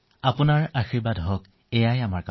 আপোনাৰ আশীৰ্বাদ থাকক আমি এয়াই বিচাৰো